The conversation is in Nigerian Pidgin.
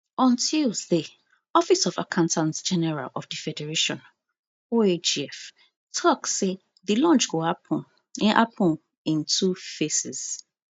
on tuesday office of accountantgeneral of di federation oagf tok say di launch go happun in happun in two phases